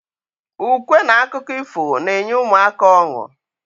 Ukwe n akụkọ ifo n'enye ụmụaka ọnu